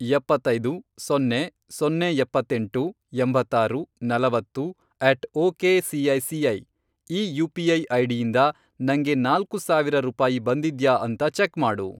ಎಪ್ಪತ್ತೈದು, ಸೊನ್ನೆ, ಸೊನ್ನೆ ಎಪ್ಪತ್ತೆಂಟು, ಎಂಬತ್ತಾರು, ನಲವತ್ತು, ಅಟ್ ಒಕೆಸಿಐಸಿಐ, ಈ ಯು.ಪಿ.ಐ. ಐಡಿಯಿಂದ ನಂಗೆ ನಾಲ್ಕು ಸಾವಿರ ರೂಪಾಯಿ ಬಂದಿದ್ಯಾ ಅಂತ ಚೆಕ್ ಮಾಡು.